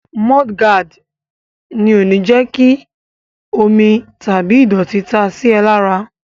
Mọ́ọ́dí gaàdì ò ní jẹ́ kí omi tàbí ìdọ̀tí ta sí ẹ lára.